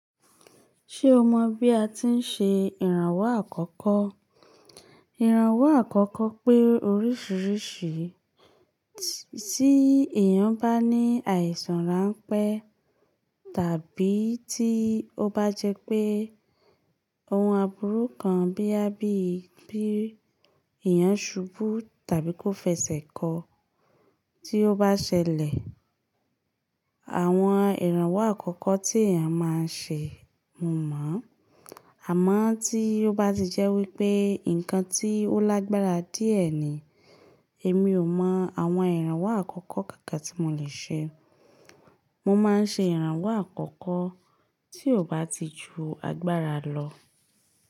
Ṣé o mọ̀ bí a ti ń ṣe ìrànwọ́ àkọ́kọ́? Ìrànwọ́ àkọ́kọ́ pé oríṣiríṣi, tí èèyàn bá ní àìsàn ránpẹ́ tàbí tí ó bá jẹ́ pé ohun àbúrú kan bíi ya bíi bí èèyàn ṣubú tàbí kó fẹsẹ̀ kọ, tí ó bá ṣẹlẹ̀, àwọn ìrànwọ́ àkọ́kọ́ tí èèyàn máa ń ṣe mo mọ̀. Àmọ́ tí ó bá ti jẹ́ wípé nǹkan tí ó lágbára díẹ̀ ni, èmi ò mọ àwọn ìrànwọ́ àkọ́kọ́ kankan tí mo lè ṣe. Mo máa ń ṣe ìrànwọ́ àkọ́kọ́ tí ò bá ti ju agbára lọ.